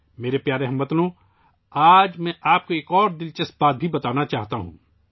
میرے پیارے ہم وطنو، آج میں آپ کو ایک اور دلچسپ بات بتانا چاہتا ہوں